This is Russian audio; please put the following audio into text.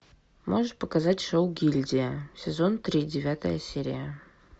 можешь показать шоу гильдия сезон три девятая серия